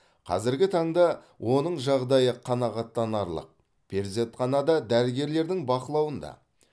қазіргі таңда оның жағдайы қанағаттанарлық перзентханада дәрігерлердің бақылауында